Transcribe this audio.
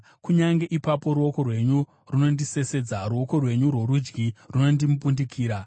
kunyange ipapo ruoko rwenyu runondisesedza, ruoko rwenyu rworudyi runondimbundikira.